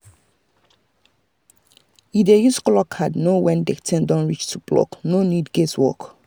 e dey use colour card know when the thing don reach to pluck no need guess work.